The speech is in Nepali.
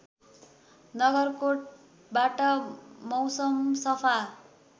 नगरकोटबाट मौसम सफा